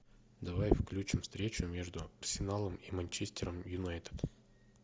давай включим встречу между арсеналом и манчестером юнайтед